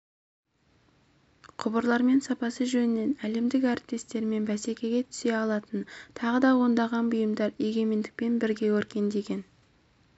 құбырлармен сапасы жөнінен әлемдік әріптестерімен бәсекеге түсе алатын тағы да ондаған бұйымдар егемендікпен бірге өркендеген